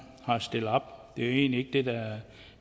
har stillet op jo egentlig ikke